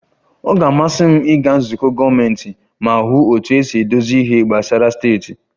Ọ ga-amasị m ịga nzukọ gọọmentị ma hụ otú e si edozi ihe gbasara steeti